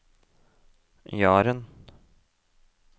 Jaren